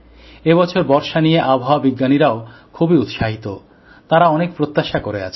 এবছর বর্ষা নিয়ে আবহাওয়া বিজ্ঞানীরাও খুবই উৎসাহিত তাঁরা অনেক প্রত্যাশা করে আছেন